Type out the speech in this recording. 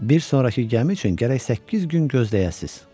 Bir sonrakı gəmi üçün gərək səkkiz gün gözləyəsiz.